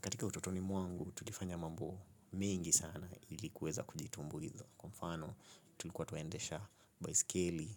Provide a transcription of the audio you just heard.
Katika ututoni mwangu, tulifanya mambo mengi sana ili kuweza kujitumbuiza. Kwa mfano, tulikuwa tuendesha baiskeli,